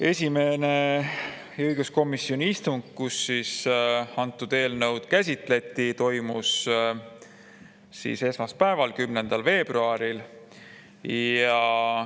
Esimene õiguskomisjoni istung, kus seda eelnõu käsitleti, toimus esmaspäeval, 10. veebruaril.